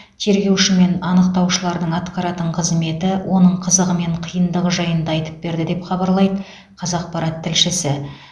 тергеуші мен анықтаушылардың атқаратын қызметі оның қызығы мен қиындығы жайында айтып берді деп хабарлайды қазақпарат тілшісі